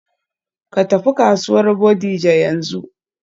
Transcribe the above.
Ka tafi kasuwar Bodija yanzu.